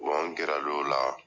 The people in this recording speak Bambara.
Wa n gɛrɛ l'o la.